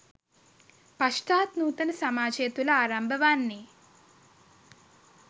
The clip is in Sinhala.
පශ්චාත් නූතන සමාජය තුළ ආරම්භ වන්නේ